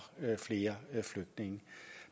flere flygtninge